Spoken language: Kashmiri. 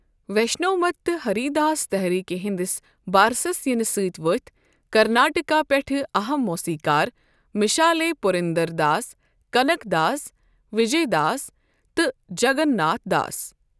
ویشنو مت تہٕ ہری داس تحریٖکہِ ہندِس بارسس یِنہٕ ستۍ ؤتھۍ کرناٹکہ پیٚٹھہٕ اَہم موسیٖقار مِشالے٘٘ پُرنٛدَرداس ، کَنک داس، وِجے داس ، تہٕ جَگن ناتھ دَاس ۔